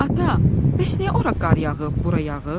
"Ata, bəs niyə ora qar yağıb, bura yağış?"